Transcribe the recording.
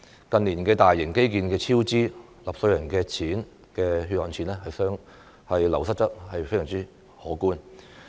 近年大型基建超支，納稅人流失的血汗錢相當可觀。